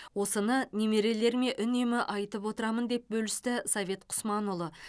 осыны немерелеріме үнемі айтып отырамын деп бөлісті совет құсманұлы